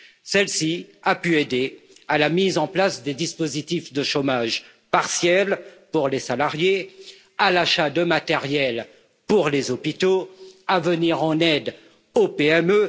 Celle ci a pu aider à la mise en place des dispositifs de chômage partiel pour les salariés, à l'achat de matériel pour les hôpitaux, à venir en aide aux PME.